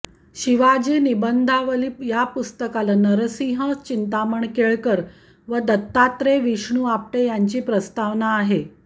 शिवाजी निबंधावली या पुस्तकाला नरसिंह चिंतामण केळकर व दत्तात्रेय विष्णु आपटे यांची प्रस्तावना आहे